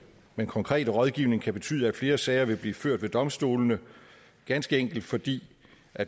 men konkrete rådgivning kan betyde at flere sager vil blive ført ved domstolene ganske enkelt fordi